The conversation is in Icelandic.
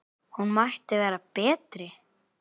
Hún mætti vera betri.